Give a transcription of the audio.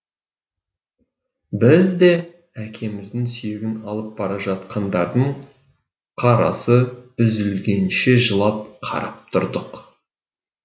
біз де әкеміздің сүйегін алып бара жатқандардың қарасы үзілгенше жылап қарап тұрдық